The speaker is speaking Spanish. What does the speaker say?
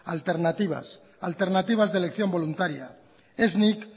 alternativas de elección voluntaria ez nik